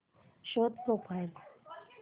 show profile